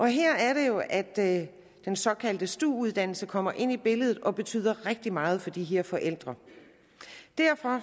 her er det jo at den såkaldte stu uddannelse kommer ind i billedet og den betyder rigtig meget for de her forældre derfor